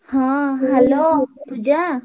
ହଁ ପୂଜା।